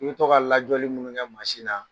I bɛ toka lajɛli minnu kƐ mansi na